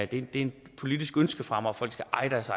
det er et politisk ønske fra mig folk skal eje deres